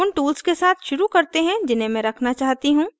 उन tools के साथ शुरू करते हैं जिन्हें मैं रखना चाहती हूँ